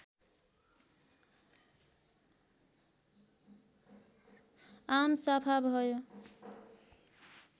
आमसभा भयो